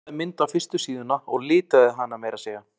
Hún teiknaði mynd á fyrstu síðuna og litaði hana meira að segja.